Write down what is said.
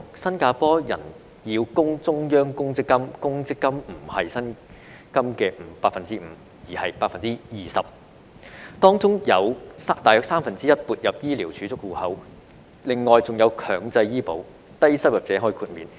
新加坡人要供中央公積金，公積金不是薪金的 5%， 而是 20%， 當中有大約三分之一撥入醫療儲蓄戶口，另外還有強制醫保，低收入者可豁免。